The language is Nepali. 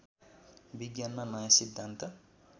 विज्ञानमा नयाँ सिद्धान्त